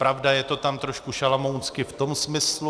Pravda, je to tam trošku šalamounsky v tom smyslu...